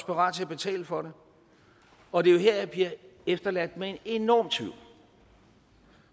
parat til at betale for det og det er jo her jeg bliver efterladt med en enorm tvivl